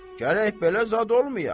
Gərək belə zad olmaya.